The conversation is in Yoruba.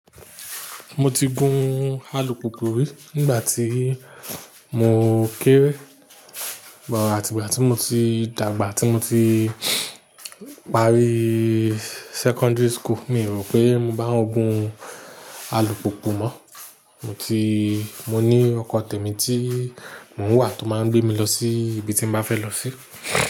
Mo ti gun alùpùpù rí nígbà tí mo kéré, but àti ìgbà tí mo ti dàgbà, tí mo ti parí secondary school. Mi o rò pé mo bá wọn gun alùpùpù mọ́. Mo ti-- mo ní ọkọ̀ tèmi tí mò ń wà tó máa gbé mi lọ sí ibi tí mo bá fẹ́ lọ sí.